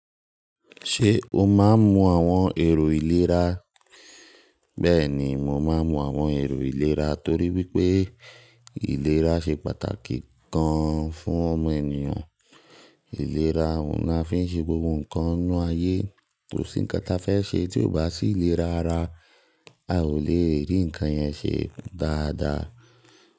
Ṣé o máa ń mu àwọn èrò ìlera? Bẹ́ẹ̀ni, mò máa ń mu àwọn èrò ìlera torí wípé ìlera ṣe pàtàkì gan-an fún ọmọ ènìyàn. Ìlera òun la fi ń ṣe gbogbo nǹkan inú ayé. Kòsí nǹkan ta fẹ́ ṣe tí ó bá sí ìlera ara, a ò lè rí nǹkan yẹn ṣe dáadáa.